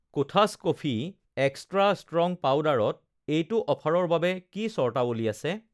কোঠাছ coffee extra strong পাউদাৰত এইটো অফাৰৰ বাবে কি চৰ্তাৱলী আছে?